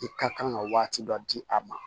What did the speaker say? I ka kan ka waati dɔ di a ma